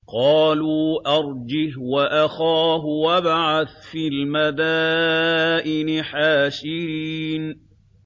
قَالُوا أَرْجِهْ وَأَخَاهُ وَابْعَثْ فِي الْمَدَائِنِ حَاشِرِينَ